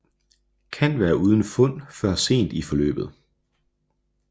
Kan være uden fund før sent i forløbet